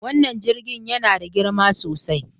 Wannan jirgin yana da girma sosai